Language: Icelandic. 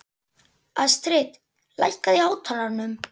Astrid, lækkaðu í hátalaranum.